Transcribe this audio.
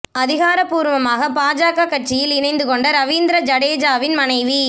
அதிகாரப்பூா்வமாக பாஜக கட்சியில் இணைத்து கொண்ட ரவீந்திர ஜடேஜாவின் மனைவி